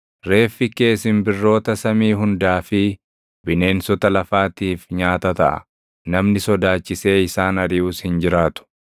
Reeffi kee simbirroota samii hundaa fi bineensota lafaatiif nyaata taʼa; namni sodaachisee isaan ariʼus hin jiraatu.